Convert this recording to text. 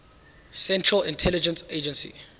central intelligence agency